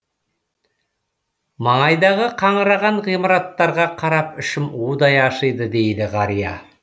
маңайдағы қаңыраған ғимараттарға қарап ішім удай ашиды дейді қария